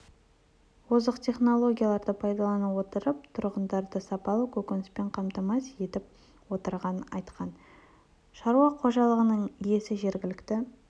озық технологияларды пайдалана отырып тұрғындарды сапалы көкөніспен қамтамасыз етіп отырғанын айтқан шаруа қожалығының иесі жергілікті